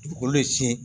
Dugukolo de sin